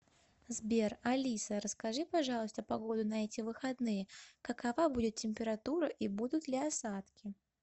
сбер алиса расскажи пожалуйста погоду на эти выходные какова будет температура и будут ли осадки